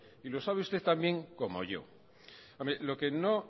y lo sabe usted tan bien como yo lo que no